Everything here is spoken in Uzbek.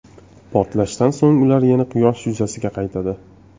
Portlashdan so‘ng ular yana Quyosh yuzasiga qaytadi.